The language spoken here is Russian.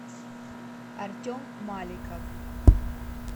артем маликов